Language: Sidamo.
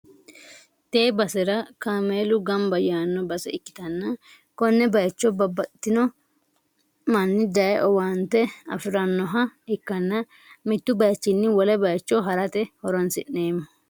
tee basera kaameelu gamba yaanno base ikkitanna, konne bayicho babbaxxino manni daye owaante afi'rannoha ikkanna, mittu bayichinni wole bayicho ha'rate horonsi'neemmo.